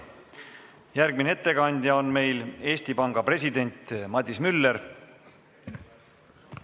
Järgmine ettekandja on Eesti Panga president Madis Müller.